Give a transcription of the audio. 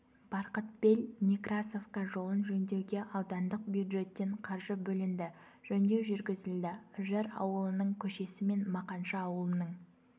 барқытбел-некрасовка жолын жөндеуге аудандық бюджеттен қаржы бөлінді жөндеу жүргізілді үржар ауылының көшесі мен мақаншы ауылының